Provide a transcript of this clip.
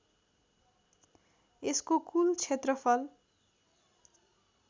यसको कुल क्षेत्रफल